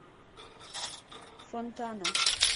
фонтана